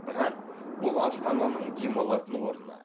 бірақ бұл астананың демалатын орны